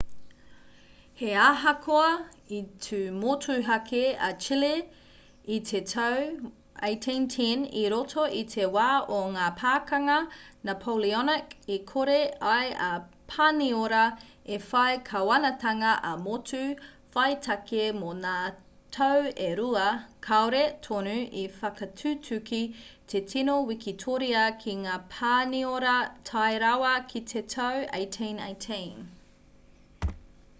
he ahakoa i tū motuhake a chile i te tau 1810 i roto i te wā o ngā pakanga napoleonic i kore ai a pāniora i whai kāwanatanga ā-motu whaitake mō ngā tau e rua kāore tonu i whakatutuki te tino wikitoria ki ngā pāniora tae rawa ki te tau 1818